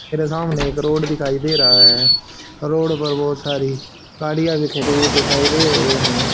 मेरे सामने एक रोड दिखाई दे रहा है रोड पर बहोत सारी गाड़ियां भी खड़ी हुई दिखाई दे रहीं हैं।